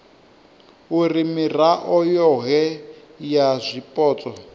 uri mirao yohe ya zwipotso